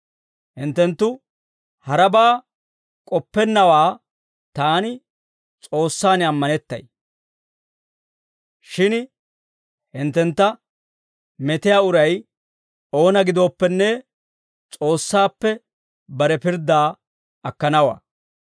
Hinttenttu harabaa k'oppennawaa taani S'oossaan ammanettay; shin hinttentta metiyaa uray oona gidooppenne, S'oossaappe bare pirddaa akkanawaa.